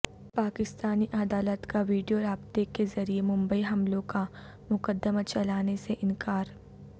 پاکستانی عدالت کا ویڈیو رابطہ کے ذریعہ ممبئی حملوں کا مقدمہ چلانے سے انکار